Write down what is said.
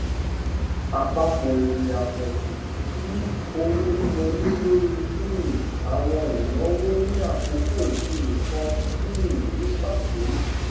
àpapọ èrè àpọjù ti owówíwọlé lórí um àwọn ìnáwó ní àkókò ìṣirò kan um ní pàtó